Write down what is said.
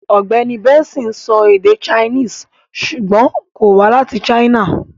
Ọ̀gbẹ́ni Benson ń sọ èdè Chinese ṣùgbọ́n kò wá láti China.